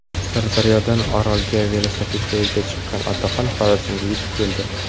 Sirdaryodan Orolga velosipedda yo‘lga chiqqan otaxon Xorazmga yetib keldi.